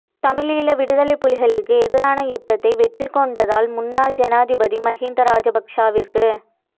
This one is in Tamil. தமிழீழ விடுதலைப் புலிகளுக்கு எதிரான யுத்தத்தை வெற்றிகொண்டதால் முன்னாள் ஜனாதிபதி மஹிந்த ராஜபக்ஷவிற்கு